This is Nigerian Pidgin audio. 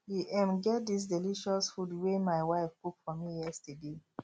e um get dis delicious food wey my wife cook for me yesterday